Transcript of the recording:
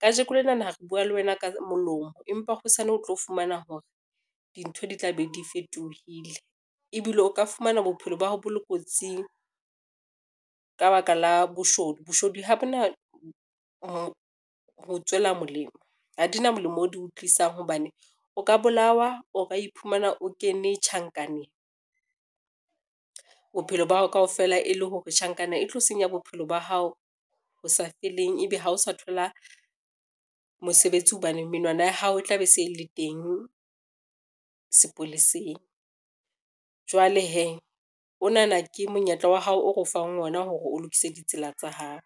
Kajeko lenana re bua le wena ka molomo, empa hosane o tlo fumana hore dintho di tla be di fetohile ebile o ka fumana bophelo ba hao bo le kotsing ka ba ka la boshodu. Boshodu ha bo na ho tswela molemo, ha di na molemo o di o tlisang hobane o ka bolawa, o ka iphumana o kene tjhankaneng bophelo ba hao kaofela e le hore tjhankana e tlo senya bophelo ba hao ho sa feleng, ebe ha o sa thola mosebetsi hobane menwana ya hao e tla be se le teng sepoleseng. Jwale hee onana ke monyetla wa hao, o re o fang ona hore o lokise ditsela tsa hao.